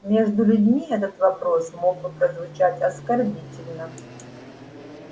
между людьми этот вопрос мог бы прозвучать оскорбительно